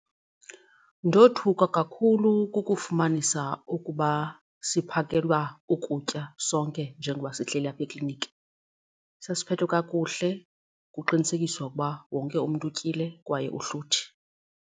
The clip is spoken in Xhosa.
Ndothuka kakhulu kukufumanisa ukuba siphakelwa ukutya sonke njengoba sihleli apha ekliniki. Sasiphethwe kakuhle kuqinisekiswa ukuba wonke umntu utyile kwaye uhluthi.